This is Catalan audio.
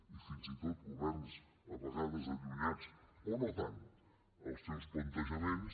i fins i tot governs a vegades allunyats o no tant dels seus plantejaments